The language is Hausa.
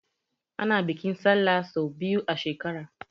Ana bikin Sallah sau biyu a shekara.